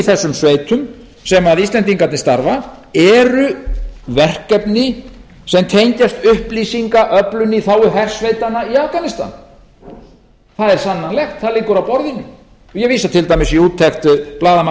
þessum sveitum sem íslaendignarnir starf eru verkefni sem tengjast upplýsingaöflun í þágu hersveitanna í afganistan það er sannanlegt það liggur á borðinu ég vísa til dæmis í úttekt blaðamanns